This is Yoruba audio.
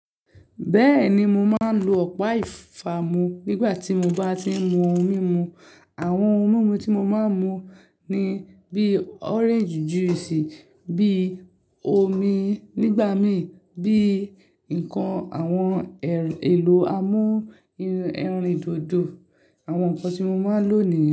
Bẹ́ẹ̀ni, mo máa ń lo ọ̀pá ìfàmú nígbà tí mo bá tí ń mu ohun mímu. Àwọn ohun mímu tí mo máa ń mu ni bí orange juice, bí omi nígbà mí, bí nǹkan àwọn el èlò amú eri, ẹrin dodo. Àwọn nǹkan tí mo máa ń lò nìyẹn.